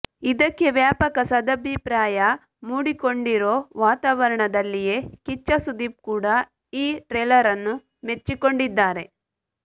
ಇದಕ್ಕೆ ವ್ಯಾಪಕ ಸದಭಿಪ್ರಾಯ ಮೂಡಿಕೊಂಡಿರೋ ವಾತಾವರಣದಲ್ಲಿಯೇ ಕಿಚ್ಚ ಸುದೀಪ್ ಕೂಡಾ ಈ ಟ್ರೇಲರನ್ನು ಮೆಚ್ಚಿಕೊಂಡಿದ್ದಾರೆ